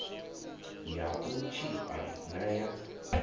ya u tshipa na ya